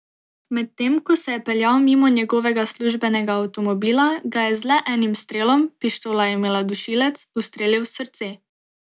Medtem ko se je peljal mimo njegovega službenega avtomobila, ga je z le enim strelom, pištola je imela dušilec, ustrelil v srce.